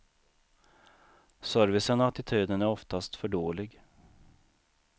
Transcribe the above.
Servicen och attityden är oftast för dålig.